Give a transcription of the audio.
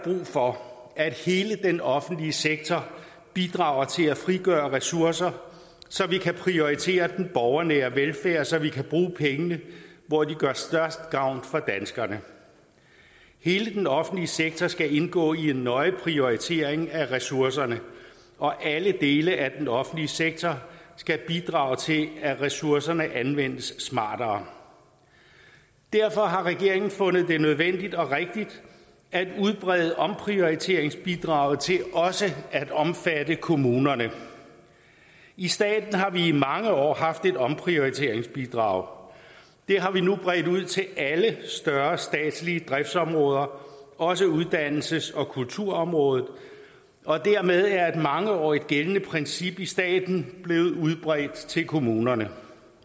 for at hele den offentlige sektor bidrager til at frigøre ressourcer så vi kan prioritere den borgernære velfærd så vi kan bruge pengene hvor de gør størst gavn for danskerne hele den offentlige sektor skal indgå i en nøje prioritering af ressourcerne og alle dele af den offentlige sektor skal bidrage til at ressourcerne anvendes smartere derfor har regeringen fundet det nødvendigt og rigtigt at udbrede omprioriteringsbidraget til også at omfatte kommunerne i staten har vi i mange år haft et omprioriteringsbidrag det har vi nu bredt ud til alle større statslige driftsområder også uddannelses og kulturområdet dermed er et mangeårigt gældende princip i staten blevet udbredt til kommunerne